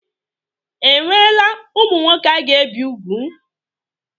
Enweela ụmụ nwoke a ga-ebi ùgwù?